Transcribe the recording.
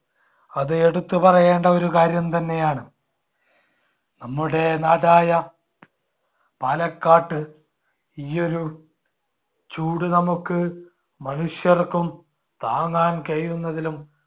അത് എടുത്തു പറയേണ്ട ഒരു കാര്യം തന്നെയാണ്. നമ്മുടെ നാടായ പാലക്കാട്ട് ഈയൊരു ചൂട് നമുക്ക് മനുഷ്യർക്കും താങ്ങാൻ കഴിയുന്നതിലും